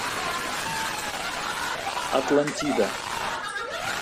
атлантида